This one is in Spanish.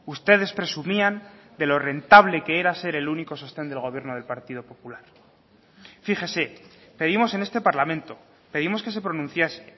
ustedes presumían de lo rentable que era ser el único sostén del gobierno del partido popular fíjese pedimos en este parlamento pedimos que se pronunciase